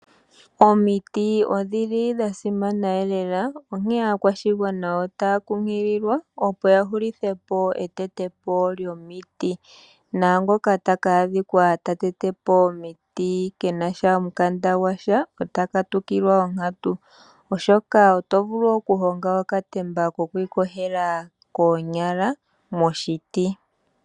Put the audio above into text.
Omiti odhili dha simana onkene aakwashigwana otaya kunkililwa opo ya hulithepo etetepo lyomiti naangoka taka adhika ta tetepo omiti kenasha omukanda gwasha ota ka tukilwa onkatu, oshoka oto vulu oku honga okatemba kokwi yogela koonyala moshiti.